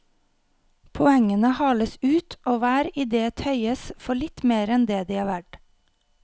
Poengene hales ut og hver idé tøyes for litt mer enn de er verd.